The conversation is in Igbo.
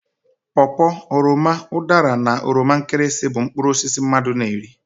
Paw paw, oroma, udara na oroma nkirisi bụ mkpụrụ osisi mmadụ na eri.